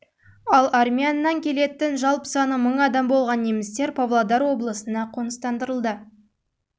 павлодар облыстарынан қоныс тепті ал армян келетін жалпы саны адам болған немістер павлодар облысында